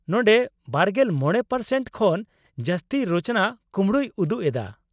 ᱱᱚᱸᱰᱮ ᱒᱕% ᱠᱷᱚᱱ ᱡᱟᱥᱛᱤ ᱨᱚᱪᱚᱱᱟ ᱠᱩᱢᱲᱩᱭ ᱩᱫᱩᱜ ᱮᱫᱟ ᱾